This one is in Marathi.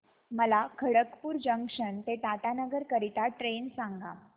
मला खडगपुर जंक्शन ते टाटानगर करीता ट्रेन सांगा